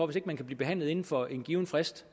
hvis ikke man kan blive behandlet inden for en given frist